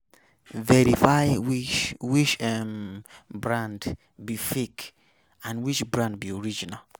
Verify which which um brand be fake and which brand be original